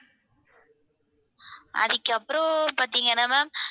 அதுக்கப்புறம் பாத்தீங்கன்னா ma'am